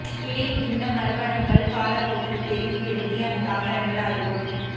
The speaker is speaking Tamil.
பிழைமிகுந்த மரபணுக்கள் காலப்போக்கில் பெருகிப் பெருகி அந்தத் தாவரங்கள் அருகும்